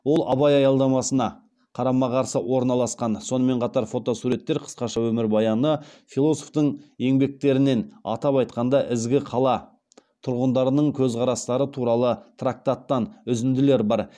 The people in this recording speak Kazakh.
ол абай аялдамасына қарама қарсы орналасқан сонымен қатар фотосуреттер қысқаша өмірбаяны философтың еңбектерінен атап айтқанда ізгі қала тұрғындарының көзқарастары туралы трактаттан үзінділер бар